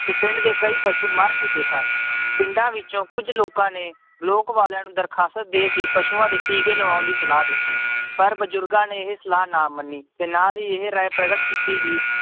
ਤੇ ਪਿੰਡ ਦੇ ਕਈ ਪਸੂ ਮਰ ਚੁੱਕੇ ਸਨ ਪਿੰਡਾਂ ਵਿੱਚੋਂ ਕੁੱਝ ਲੋਕਾਂ ਨੇ ਲੋਕ ਵਾਲਿਆਂ ਨੂੰ ਦਰਖਾਸਤ ਦੇ ਕੇ ਪਸੂਆਂ ਦੇ ਟੀਕੇ ਲਵਾਉਣ ਦੀ ਸਲਾਹ ਦਿੱਤੀ ਪਰ ਬਜ਼ੁਰਗਾਂ ਨੇ ਇਹ ਸਲਾਹ ਨਾ ਮੰਨੀ ਤੇ ਨਾਲ ਹੀ ਇਹ ਰਾਏ ਪ੍ਰਗਟ ਕੀਤੀ ਕਿ